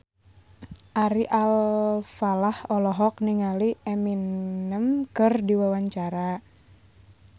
Ari Alfalah olohok ningali Eminem keur diwawancara